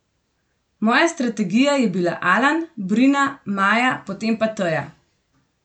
Moja strategija je bila Alan, Brina, Maja, potem pa Teja.